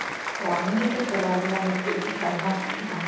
ಓ, ಹಂಗ್ ಇದ್ರೆ ಪರ್ವಾಗಿಲ್ಲ. mix ಇರುತ್ತಲ್ವ? ಹ .